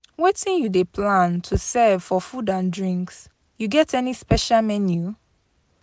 Wetin you dey plan to serve for food and drinks, you get any special menu?